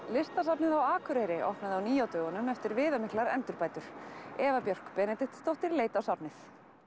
listasafnið á Akureyri opnaði á ný á dögunum eftir viðamiklar endurbætur Eva Björk Benediktsdóttir leit á safnið